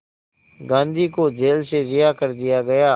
गांधी को जेल से रिहा कर दिया गया